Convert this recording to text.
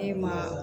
E ma